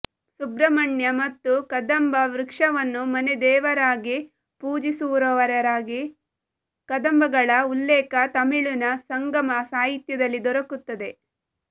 ಸುಬ್ರ್ರಹ್ಮ್ರಣ್ಯ ಮತ್ತು ಕದಂಬ ವೃಕ್ಷವನ್ನು ಮನೆದೇವರಾಗಿ ಪೂಜಿಸುವವರಾಗಿ ಕದಂಬಗಳ ಉಲ್ಲೇಖ ತಮಿಳಿನ ಸಂಗಮ ಸಾಹಿತ್ಯದಲ್ಲಿ ದೊರಕುತ್ತದೆ